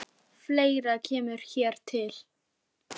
Fleira kemur hér til.